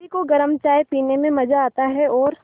सभी को गरम चाय पीने में मज़ा आता है और